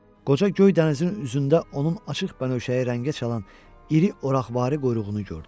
Qoca göy dənizin üzündə onun açıq bənövşəyi rəngə çalan iri oraqvari quyruğunu gördü.